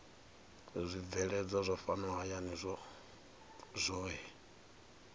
zwibveledzwa zwa fhano hayani zwohe